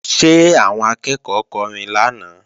Ṣé àwọn akẹ́ẹ̀kọ́ kọrin lánàá?